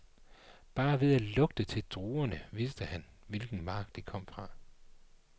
Bare ved at lugte til druerne vidste han, hvilken mark de kom fra.